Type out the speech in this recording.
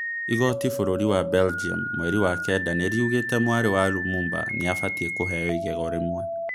Igooti bũrũri wa Belgium, mweri wa kenda nĩriugĩte mwari wa Lumumba nĩabatie kũheo igego rĩmwe